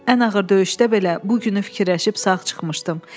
Ən ağır döyüşdə belə bu günü fikirləşib sağ çıxmışdım.